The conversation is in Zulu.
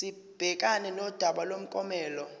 sibhekane nodaba lomklomelo